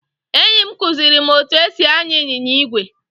Enyi m kuziri m etu esi anya ịnyịnya igwe.